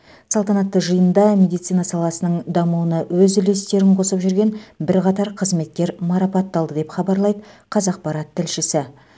салтанатты жиында медицина саласының дамуына өз үлестерін қосып жүрген бірқатар қызметкер марапатталды деп хабарлайды қазақпарат тілшісі